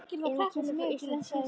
Er hún kemur frá Íslandi síðsumars